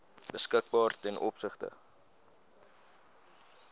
beskikbaar ten opsigte